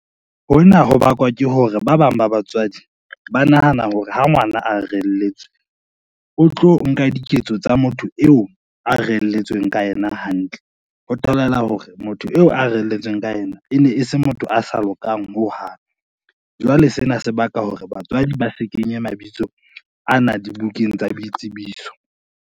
Hona ho bakwa ke hore ba bang ba batswadi ba nahana hore ha ngwana a reheletswe, o tlo nka diketso tsa motho eo a reelletsweng ka yena hantle, ho bolela hore motho eo a reelletsweng ka ena e ne e se motho a sa lokang hohang. Jwale sena se baka hore batswadi ba se kenye mabitso ana dibukeng tsa boitsebiso.